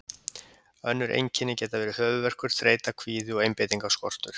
Önnur einkenni geta verið höfuðverkur, þreyta, kvíði og einbeitingarskortur.